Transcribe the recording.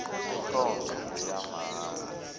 le nkonzo ngeyamahala